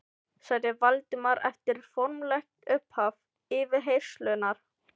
sagði Valdimar eftir formlegt upphaf yfirheyrslunnar.